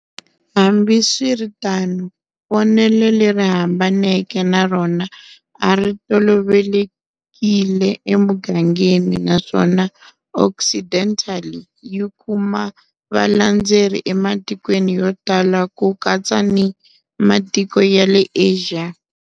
Hambi swi ri tano, vonelo leri hambaneke na rona a ri tolovelekile emugangeni naswona Occidental yi kuma valandzeri ematikweni yo tala ku katsa ni matiko ya le Asia.